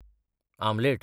omelette